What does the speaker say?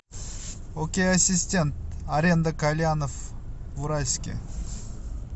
окей ассистент аренда кальянов в уральске